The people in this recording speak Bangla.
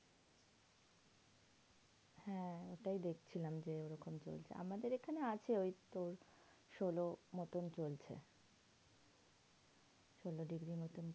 হ্যাঁ এটাই দেখছিলাম যে ওইরকম বলছে আমাদের এখানে আছে ওই তোর ষোলো মতন চলছে। ষোলো degree মতন